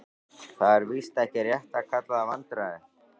Það er víst ekki rétt að kalla það vandræði.